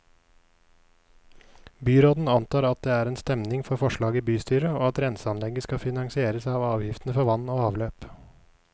Byråden antar at det er stemning for forslaget i bystyret, og at renseanlegget skal finansieres av avgiftene for vann og avløp.